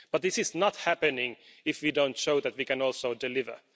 But this is not happening if we don't show that we can also deliver.